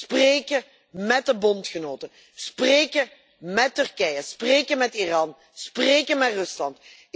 Spreken met de bondgenoten, spreken met Turkije, spreken met Iran, spreken met Rusland.